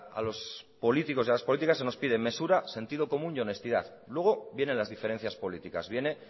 a los políticos y a las políticas se nos pide mesura sentido común y honestidad luego vienen las diferencias políticas viene